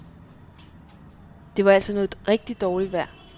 Det var altså noget rigtigt dårligt vejr.